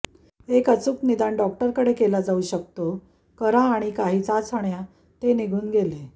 एक अचूक निदान डॉक्टरकडे केला जाऊ शकतो करा आणि काही चाचण्या ते निघून गेले